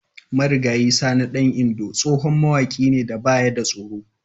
Marigayi Sani dan Indo tsohon mawaƙi ne da baya da tsoro.